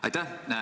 Aitäh teile!